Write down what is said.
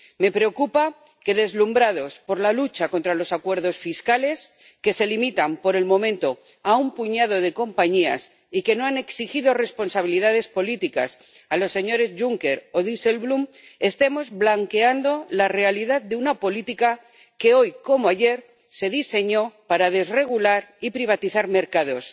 Me preocupa que, deslumbrados por la lucha contra los acuerdos fiscales —que se limitan, por el momento, a un puñado de compañías y que no han exigido responsabilidades políticas a los señores Juncker o Dijsselbloem—, estemos blanqueando la realidad de una política que, hoy como ayer, se diseñó para desregular y privatizar mercados,